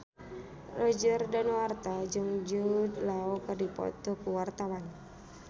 Roger Danuarta jeung Jude Law keur dipoto ku wartawan